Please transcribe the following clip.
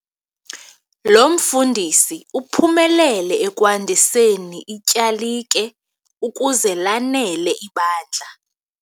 Lo mfundisi uphumelele ekwandiseni ityalike ukuze lanele ibandla.